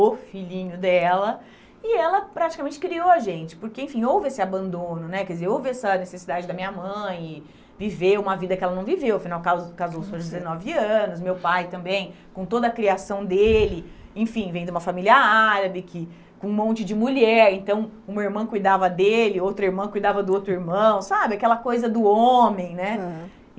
o filhinho dela, e ela praticamente criou a gente, porque enfim, houve esse abandono, né, quer dizer, houve essa necessidade da minha mãe viver uma vida que ela não viveu, afinal, ca casou-se aos dezenove anos, meu pai também, com toda a criação dele, enfim, vem de uma família árabe que, com um monte de mulher, então, uma irmã cuidava dele, outra irmã cuidava do outro irmão, sabe, aquela coisa do homem, né? Uhum.